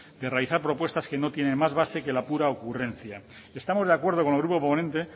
y realizar propuestas que no tienen más base que la pura ocurrencia estamos de acuerdo con el grupo proponente